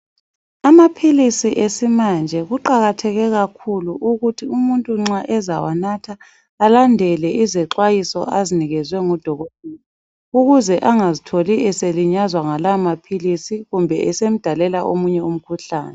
Amaphilisi esimanje kuqakatheke kakhulu ukuthi umuntu nxa ezawanatha alandele izixwayiso azinikezwe ngudokotela ukuze angazitholi eselinyazwa ngalamaphilisi kumbe esemdalela omunye umkhuhlane.